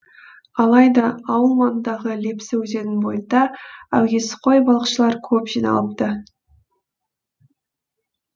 алайда ауыл маңындағы лепсі өзенінің бойында әуесқой балықшылар көп жиналыпты